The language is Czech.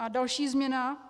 A další změna.